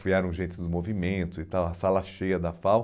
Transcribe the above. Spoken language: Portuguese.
Filiaram gente dos movimentos, e tal, a sala cheia da FAU.